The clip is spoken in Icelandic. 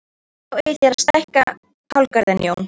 Þá eigið þér að stækka kálgarðinn Jón!